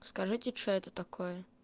скажите что это такое